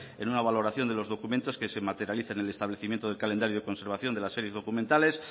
en una valoración de los documentos que se materialicen en el establecimiento del calendario de conservación de las series documentales